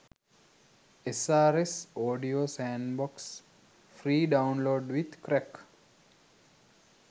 srs audio sandbox free download with crack